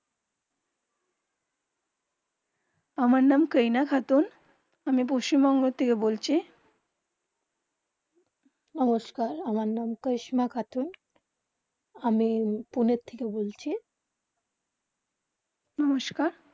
আমার নাম কারিনা খাতুন আমি পশ্চিম বংগো থেকে বলছি, নমস্কার আমার নাম কারিশমা খাতুন আমি পুনে থেকে বলছি নমস্কার